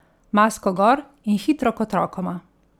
Masko gor in hitro k otrokoma!